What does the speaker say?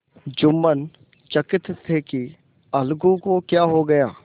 जुम्मन चकित थे कि अलगू को क्या हो गया